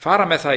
fara með það í